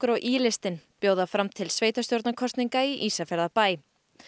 og í listinn bjóða fram til sveitarstjórnarkosninga í Ísafjarðarbæ